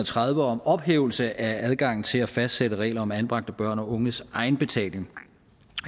tredive om ophævelse af adgangen til at fastsætte regler om anbragte børn og unges egenbetaling